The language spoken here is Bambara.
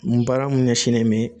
N baara mun ɲɛsinnen bɛ